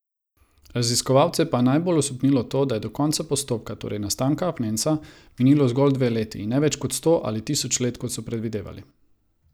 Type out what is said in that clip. Raziskovalce pa je najbolj osupnilo to, da je do konca postopka, torej nastanka apnenca, minilo zgolj dve leti, in ne več kot sto ali tisoč let, kot so predvidevali.